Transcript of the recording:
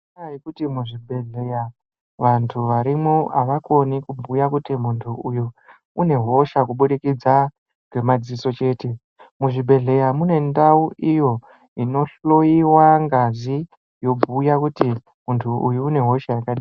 Inyaya yekuti muzvibhedhleya vantu varimwo avakoni kubhuya kuti muntu uyu une hosha kubudikidza ngemadziso chete. Muzvibhedhleya mune ndau iyo inohloiwa ngazi yobhuya kuti muntu uyu une hosha yakadai.